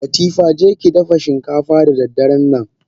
Latifa jekidafa shinkafa da darennan!